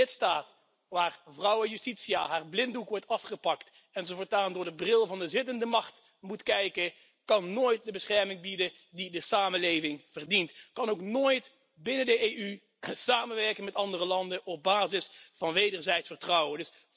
Een lidstaat waar Vrouwe Justitia haar blinddoek wordt afgepakt en ze voortaan door de bril van de zittende macht moet kijken, kan nooit de bescherming bieden die de samenleving verdient, kan ook nooit binnen de EU samenwerken met andere landen op basis van wederzijds vertrouwen.